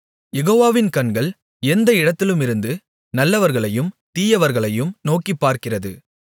யெகோவாவின் கண்கள் எந்த இடத்திலுமிருந்து நல்லவர்களையும் தீயவர்களையும் நோக்கிப்பார்க்கிறது